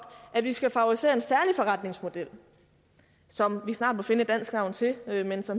at vi skal favorisere en særlig forretningsmodel som vi snart må finde et dansk navn til altså